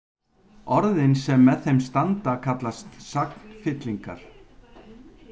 Orðin sem með þeim standa kallast sagnfyllingar.